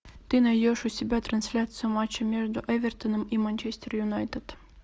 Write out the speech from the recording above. ты найдешь у себя трансляцию матча между эвертоном и манчестер юнайтед